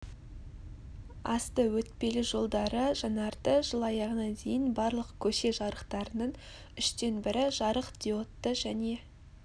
асты өтпелі жолдары жаңарды жыл аяғына дейін барлық көше жарықтарының үштен бірі жарық диодты және